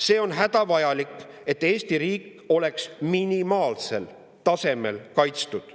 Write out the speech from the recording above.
"See on hädavajalik, et Eesti riik oleks minimaalsel tasemel kaitstud.